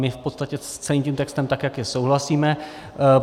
My v podstatě s celým tím textem, tak jak je, souhlasíme.